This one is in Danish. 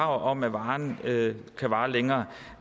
om at varen kan vare længere